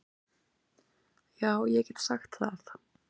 Já ég get sagt það.